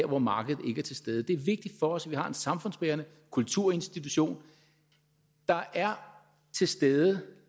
hvor markedet ikke er til stede det er vigtigt for os at vi har en samfundsbærende kulturinstitution der er til stede